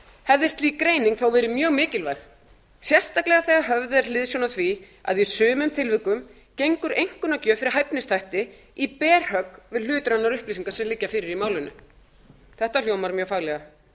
hefði slík greining þó verið mjög mikilvæg sérstaklega þegar höfð er hliðsjón af því að í sumum tilvikum gengur einkunnagjöf fyrir hæfnisþætti í berhögg við hlutrænar upplýsingar sem liggja fyrir í málinu þetta hljómar mjög faglega